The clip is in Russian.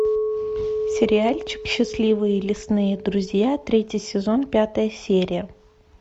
сериальчик счастливые лесные друзья третий сезон пятая серия